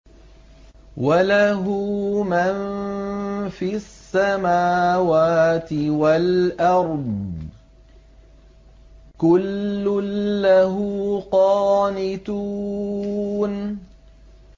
وَلَهُ مَن فِي السَّمَاوَاتِ وَالْأَرْضِ ۖ كُلٌّ لَّهُ قَانِتُونَ